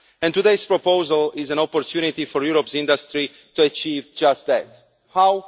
Today's proposal is an opportunity for Europe's industry to achieve just that. How?